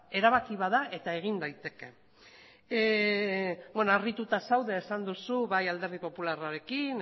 erabaki bat da eta egin daiteke beno harrituta zaude esan duzu bai alderdi popularrarekin